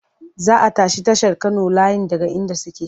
Za a tashi tashar Kano layin daga inda suke.